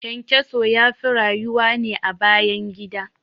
ƘyanƘyaso yafi rayuwa ne a bayan gida